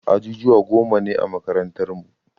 Ajujuwa goma ne a makarantar mu.